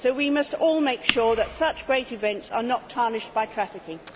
We must all make sure that such great events are not tarnished by trafficking.